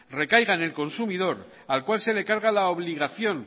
recaiga en el consumidor al cual se le carga la obligación